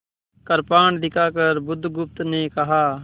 कृपाण दिखाकर बुधगुप्त ने कहा